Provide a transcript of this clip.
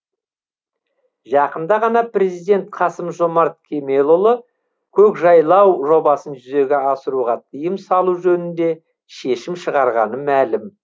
жақында ғана президент қасым жомарт кемелұлы көкжайлау жобасын жүзеге асыруға тыйым салу жөнінде шешім шығарғаны мәлім